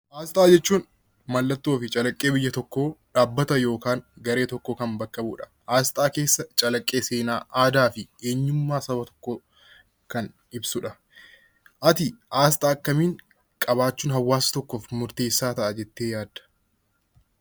Asxaa jechuun mallattoo yookiin calaqqee biyya tokkoo dhaabbata yookiin garee tokko bakka bu'u jechuudha. Asxaa keessatti calaqqee fi aadaa, eenyummaa saba tokkoo kan ibsudha.